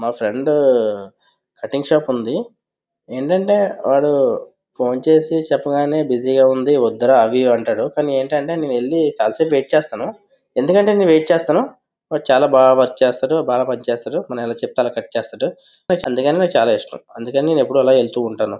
మా friend cutting shop ఉంది . ఏంటంటే వాడు ఫోన్ చేసి చెప్పగానే బిజీగా ఉంది వద్దురా అవి ఇవి అంటాడు. కానీ నేనైతే చాలా సేపు వెయిట్ చేస్తాను. ఎందుకంటే చాలా బాగా వర్క్ చేస్తాడు. చాలా బాగా పనిచేస్తాడు. మనం ఎలా చెప్తే అలా కట్ చేస్తాడు. అందుకనే నాకు చాలా ఇష్టం . అందుకనే నేను ఎప్పుడూ అలా వెళ్తుంటాను.